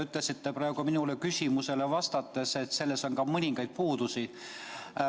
Te ütlesite praegu minu küsimusele vastates, et selles töös on ka mõningaid puudusi.